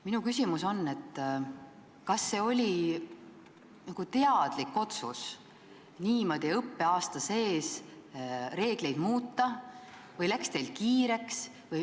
Minu küsimus on, et kas see oli teadlik otsus niimoodi õppeaasta sees reegleid muuta või läks teil kiireks.